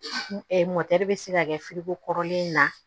bɛ se ka kɛ kɔrɔlen na